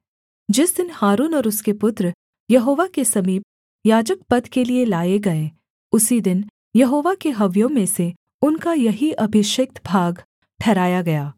जिस दिन हारून और उसके पुत्र यहोवा के समीप याजकपद के लिये लाए गए उसी दिन यहोवा के हव्यों में से उनका यही अभिषिक्त भाग ठहराया गया